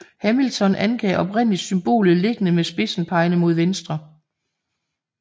Hamilton angav oprindeligt symbolet liggende med spidsen pegende mod venstre